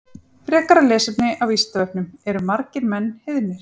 Frekara lesefni á Vísindavefnum Eru margir menn heiðnir?